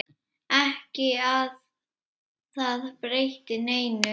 Ekki að það breytti neinu.